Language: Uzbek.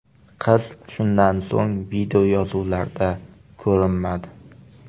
Qiz shundan so‘ng videoyozuvlarda ko‘rinmadi.